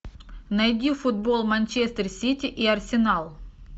найди футбол манчестер сити и арсенал